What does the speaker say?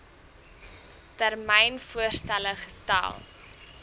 termyn voorstelle gestel